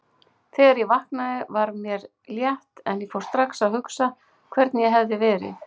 Þegar ég vaknaði var mér létt en fór strax að hugsa hvernig ég hefði verið.